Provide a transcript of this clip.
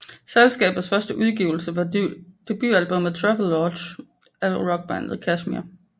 Selskabets første udgivelse var debutalbummmet Travelogue af rockbandet Kashmir